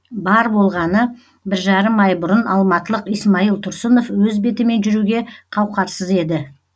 бар болғаны бір жарым ай бұрын алматылық исмаил тұрсынов өз бетімен жүруге қауқарсыз еді